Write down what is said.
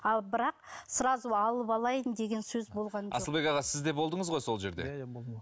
ал бірақ сразу алып алайын деген сөз болған жоқ асылбек аға сіз де болдыңыз ғой сол жерде иә иә болдым